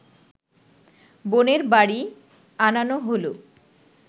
বোনের বাড়ি আনানো হল